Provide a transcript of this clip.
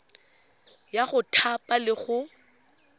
ya go thapa le go